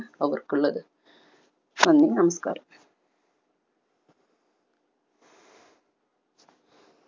അവർക്കുള്ളത്. നന്ദി നമസ്‌കാർ